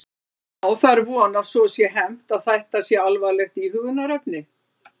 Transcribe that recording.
Já, það er von að svo sé hermt að þetta sé alvarlegt íhugunarefni.